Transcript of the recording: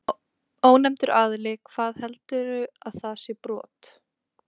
Ónefndur aðili: Hvað, heldurðu að það sé brot?